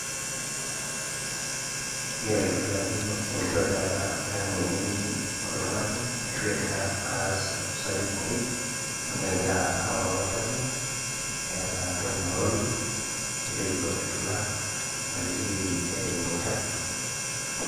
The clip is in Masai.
kegira aitodolu ajo enkitobirata ayeng' ninye etii oltung'ani , ashu egira aas usafi pooki amu egira aoroo ol chafu eeta entoki, nishopito engila namitiki ejing ol chafu.